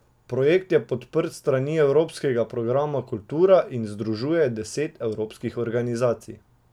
Projekt je podprt s strani evropskega programa Kultura in združuje deset evropskih organizacij.